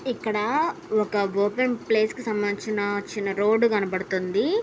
ఇక్కడా ఒక open place కు సంబంధించిన చిన్న రోడ్డు కనబడుతుంది.